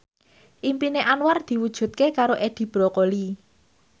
impine Anwar diwujudke karo Edi Brokoli